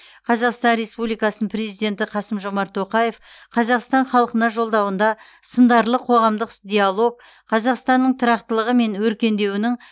қазақстан республикасының президенті қасым жомарт тоқаев қазақстан халқына жолдауында сындарлы қоғамдық диалог қазақстанның тұрақтылығы мен өркендеуінің